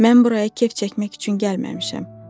Mən buraya kef çəkmək üçün gəlməmişəm.